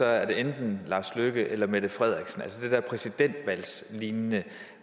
er det enten lars løkke rasmussen eller mette frederiksen altså de der præsidentvalgslignende